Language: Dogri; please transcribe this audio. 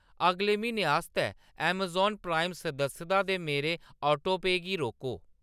अगले म्हीने आस्तै अमेज़ॉन प्राइम सदस्यता दे मेरे ऑटोपे गी रोको।